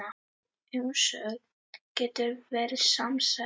Umsögn getur verið samsett